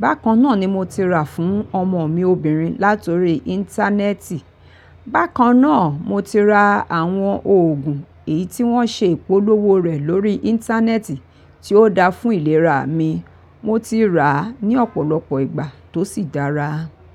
Bákan náà ni mo ti rà fún ọmọ mi obìnrin látọrí Íńtánẹ́ẹ̀tì. Bákan náà mo ti ra àwọn òògùn èyí tí wọ́n ṣe ìpolówó rẹ̀ lórí Íńtánẹ́ẹ̀tì tí ó dáa fún ìlera mi. Mo ti rà á ní ọ̀pọ̀lọpọ̀ ìgbà tó sì dára.